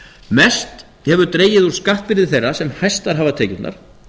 mest hefur dregið úr skattbyrði þeirra sem hæstar hafa tekjurnar